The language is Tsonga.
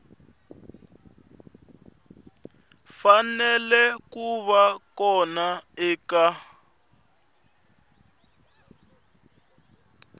fanele ku va kona eka